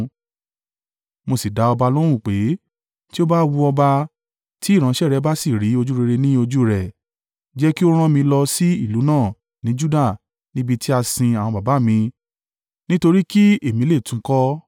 mo sì dá ọba lóhùn pé, “Ti ó bá wu ọba, tí ìránṣẹ́ rẹ bá sì rí ojúrere ní ojú rẹ, jẹ́ kí ó rán mi lọ sí ìlú náà ní Juda níbi tí a sin àwọn baba mi nítorí kí èmi lè tún un kọ́.”